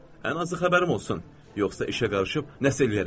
Ən azı xəbərim olsun, yoxsa işə qarışıb nəsə eləyərəm.